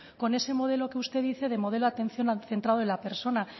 con ese modelo que usted dice de modelo de atención centrado en la persona